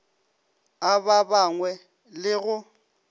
a ba bangwe le go